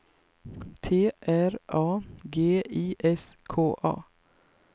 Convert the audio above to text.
T R A G I S K A